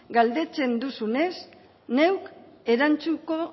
galdetzen duzunez neuk erantzungo